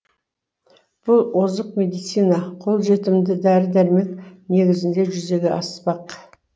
бұл озық медицина қолжетімді дәрі дәрмек негізінде жүзеге аспақ